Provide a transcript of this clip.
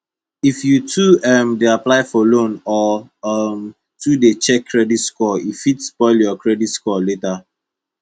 if you too um dey apply for loan or um too dey check credit score e fit spoil your credit score later